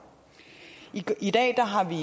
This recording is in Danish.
i dag har vi